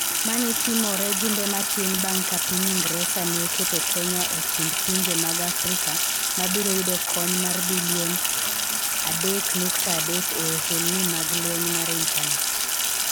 Mani timore jumbe matin bang' ka piny Ingresa ne oketo Kenya e kind pinje mag Afrika ma biro yudo kony mar bilion Sh3.3 e ohelni mag lweny mar intanet.